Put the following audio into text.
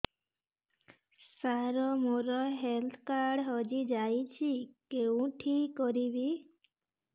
ସାର ମୋର health card ହଜି ଯାଇଛି କେଉଁଠି କରିବି